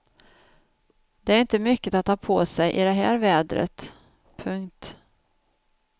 Det är inte mycket att ha på sig i det här vädret. punkt